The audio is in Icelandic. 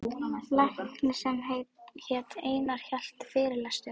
Læknir sem hét Einar hélt fyrirlestur.